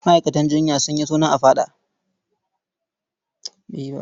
Ma'aikatan jinya sun yi suna a faɗa.